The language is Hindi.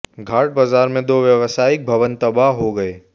घाट बाजार में दो व्यवसायिक भवन तबाह हो गए